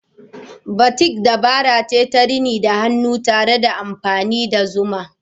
Batik dabara ce ta rini da hannu tare da amfani da kakin zuma.